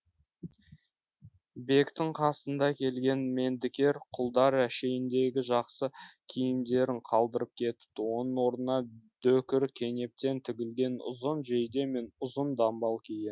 бектің қасында келген мендікер құлдар әшейіндегі жақсы киімдерін қалдырып кетіпті оның орнына дөкір кенептен тігілген ұзын жейде мен ұзын дамбал киген